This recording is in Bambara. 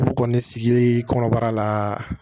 Olu kɔni sigi kɔnɔbara la